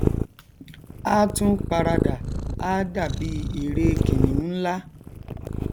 á tún paradà á dàbí ère kìnìún nlá